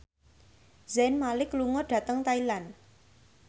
Zayn Malik lunga dhateng Thailand